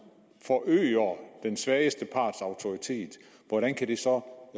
forøger den svageste parts autoritet hvordan kan det så